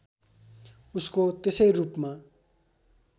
उसको त्यसै रूपमा